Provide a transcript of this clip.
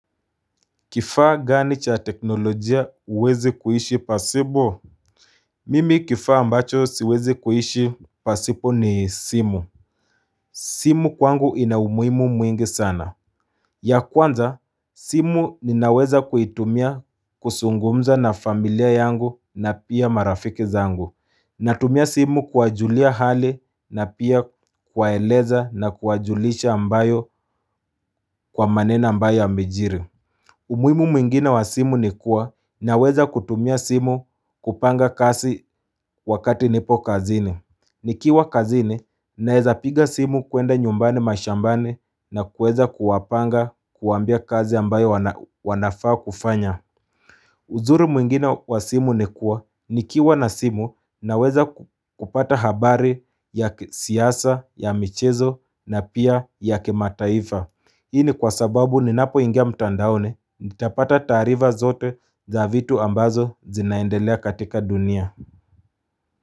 Kifaa gani cha teknolojia uwezi kuhishi pasipo Mimi kifaa ambacho siwezi kuhishi pasipo ni simu simu kwangu ina umuhimu mwingi sana ya kwanza simu ninaweza kuitumia kusungumza na familia yangu na pia marafiki zangu Natumia simu kuwajulia hali na pia kuwaeleza na kuwajulisha ambayo kwa maneno ambayo ymejiri umuhimu mwingine wa simu ni kuwa naweza kutumia simu kupanga kasi wakati nipo kazini. Nikiwa kazini naeza piga simu kuenda nyumbani mashambani na kueza kuwapanga kuwaambia kazi ambayo wanafaa kufanya. Uzuru mwingine wa simu ni kuwa nikiwa na simu naweza kupata habari ya kisiyasa, ya michezo na pia ya kimataifa. Hii ni kwa sababu ninapoingia mtandaoni nitapata taarifa zote za vitu ambazo zinaendelea katika dunia.